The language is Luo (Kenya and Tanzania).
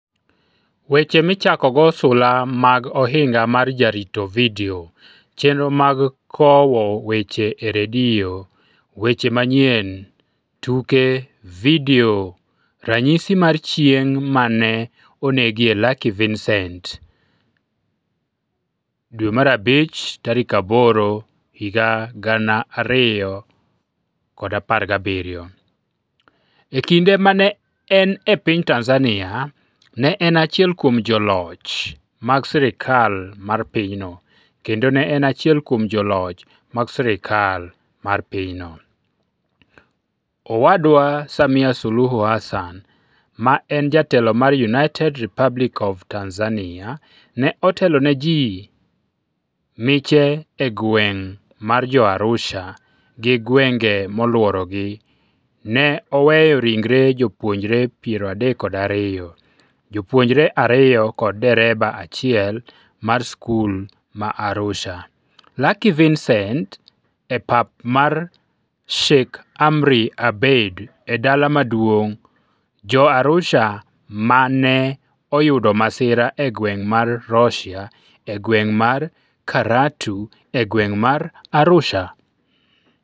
Weche Michakogo Sula mag Ohinga mar Jarito Vidio Chenro mag Kowo Weche e redio Weche Manyien tuke Vidio Ranyisi mar Chieng' ma ne onegie Lucky Vicent May 8, 2017 E kinde ma ne en e piny Tanzania, ne en achiel kuom joloch mag sirkal mar pinyno, kendo ne en achiel kuom joloch mag sirkal mar pinyno. Owadwa Samia Suluhu Hassan, ma en jatelo mar United Republic of Tanzania, ne otelo ne ji miche e gweng ' mar Jo-Arusha gi gwenge molworogi ne oweyo ringre jopuonjre 32, jopuonjre ariyo kod dereba achiel mar skul ma Arusha. Lucky Vicent e pap mar Sheikh Amri Abeid e Dala Maduong' Jo-Arusha ma ne oyudo masira e gweng' mar Rhotia e gweng' mar Karatu e gweng' mar Arusha.